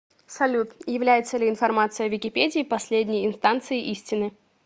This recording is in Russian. салют является ли информация в википедии последней инстанцией истины